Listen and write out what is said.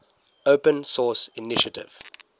open source initiative